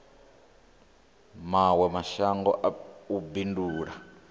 mawe mashango na u bindula